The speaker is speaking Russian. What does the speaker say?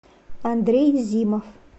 андрей зимов